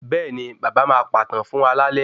Bẹ́ẹ̀ni, baba máa pàtàn fún wa lálẹ́